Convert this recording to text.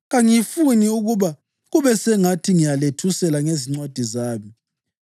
Kangifuni ukuba kube sengathi ngiyalethusela ngezincwadi zami.